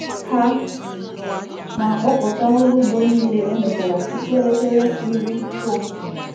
Ha na-akpọpụta ọrụ ugbo niile emechara tupu elekere iri nke ụtụtụ.